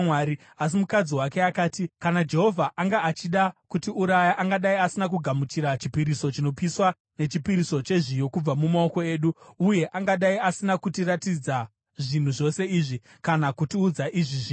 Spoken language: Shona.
Asi mukadzi wake akati, “Kana Jehovha anga achida kutiuraya, angadai asina kugamuchira chipiriso chinopiswa nechipiriso chezviyo kubva mumaoko edu, uye angadai asina kutiratidza zvinhu zvose izvi kana kutiudza izvi zvino.”